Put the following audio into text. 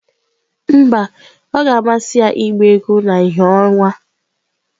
Mba, ọ ga-amasị ya ịgba egwu na ìhè ọnwa.